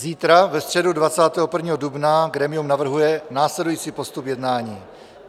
Zítra, ve středu 21. dubna, grémium navrhuje následující postup jednání.